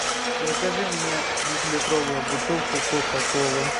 закажи мне двухлитровую бутылку кока колы